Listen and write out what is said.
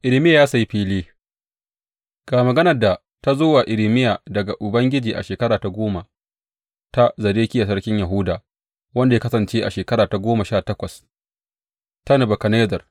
Irmiya ya sayi fili Ga maganar da ta zo wa Irmiya daga Ubangiji a shekara ta goma ta Zedekiya sarkin Yahuda, wanda ya kasance shekara ta goma sha takwas ta Nebukadnezzar.